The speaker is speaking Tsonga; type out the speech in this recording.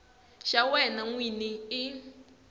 xa wena n wini hi